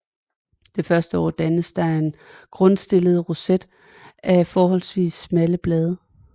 Det første år dannes der en grundstillet roset af forholdsvis smalle blade